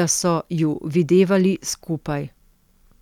da so ju videvali skupaj.